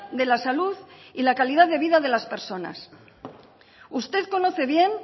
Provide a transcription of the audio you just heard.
de la salud y la calidad de vida de las personas usted conoce bien